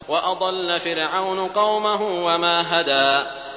وَأَضَلَّ فِرْعَوْنُ قَوْمَهُ وَمَا هَدَىٰ